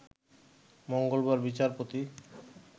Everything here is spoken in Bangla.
মঙ্গলবার বিচারপতি